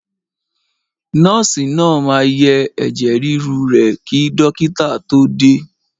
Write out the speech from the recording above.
Nọ́ọ̀sì náà máa yẹ ẹ̀jẹ̀ ríru rẹ kí dọ́kìtà tó dé.